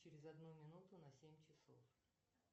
через одну минуту на семь часов